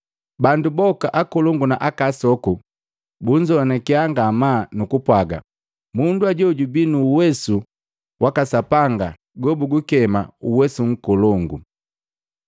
Bandu boka akolongu na asoku, bunzowanakiya ngamaa nukupwaga, “Mundu ajoo jubii nu uwesu waka Sapanga gobugukema, ‘Uwesu Nkolongu.’ ”